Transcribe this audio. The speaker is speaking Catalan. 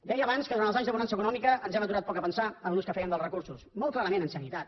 deia abans que durant els anys de bonança econòmica ens hem aturat poc a pensar en l’ús que fèiem dels recursos molt clarament en sanitat